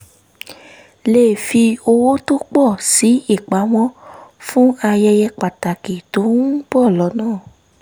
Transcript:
lè fi owó tó pọ̀ sí ìpamọ́ fún ayẹyẹ pàtàkì tó ń bọ̀ lọ́nà